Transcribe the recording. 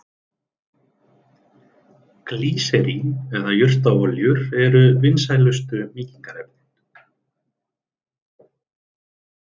Glýserín eða jurtaolíur eru vinsælustu mýkingarefnin.